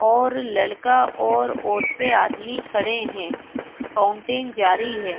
और लड़का और औरते आदमी खड़े है फाउंटेन जारी है।